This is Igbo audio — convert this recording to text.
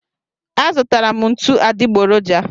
A zụtara m ntụ adịgboroja